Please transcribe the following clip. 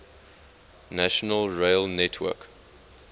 national rail network